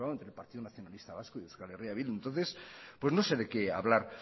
consensuado entre el partido nacionalista vasco y eh bildu entonces pues no sé de qué hablar